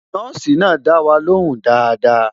Nọ́ọ̀sì náà dá wa ló hùn dáadáa